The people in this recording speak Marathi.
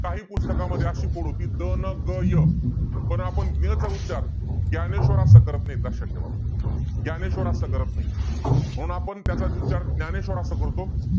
आपल्या मुल खंडोबा साठी खंडोबा चा नवस करण्याची प्र प्रथा समाजात प्रचलित होती आप आपल्याला जे पहिले मूल होईल खंडोबाला वाहील जाईल असा नवस बोलला जात असे.